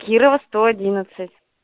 кирова сто одиннадцать